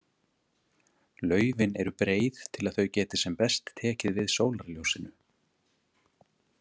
Laufin eru breið til að þau geti sem best tekið við sólarljósinu.